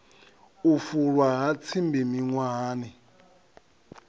u fulwa ha tsimbi miṅwahani